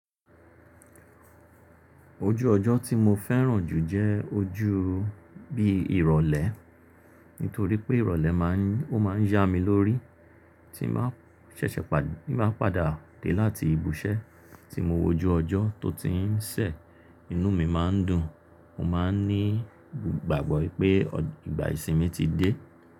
Ojú ọjọ́ tí mo fẹ́ràn jù jẹ́ ojú bí ìrọ̀lẹ́, nítorí pé ìrọ̀lẹ́ máa ń, ó máa ń yá mi lórí tí mo bá ṣẹ̀ṣẹ̀ padà, tí mo bá padà dé láti ibùṣẹ́ tí mo wojú ọjọ́ tó ti ń ṣẹ̀, inú mi máa ń dùn, mo máa ń ní ìgbàgbọ́ pé ìgbà ìsinmi ti dé.